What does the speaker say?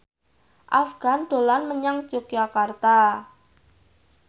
Afgan dolan menyang Yogyakarta